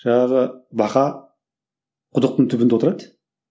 жаңағы бақа құдықтың түбінде отырады